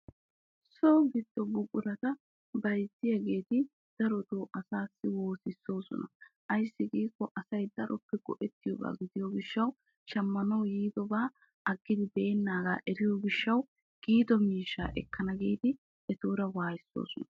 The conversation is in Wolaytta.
So gido buqurata bayzziyagetta darotto buqura al'ettosonna ayssi giikko shammanawu yiidda asay aggiddi beenaga eriyo gishawu waayisossonna.